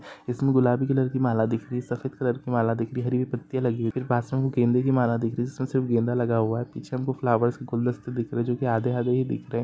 इसमे गुलाबी कलर की माला दिख रही है सफ़ेद कलर की माला दिख रही है हरी हरी पत्तियाँ लगी हुई है फीर पास मे गेंदों की माला दिख रही है जिसमे सिर्फ गेंदा लगा हुआ है पीछे हमको फ्लावोर्स के गुलदस्ते दिख रहे है जो की आधे आधे ही दिख रहे है।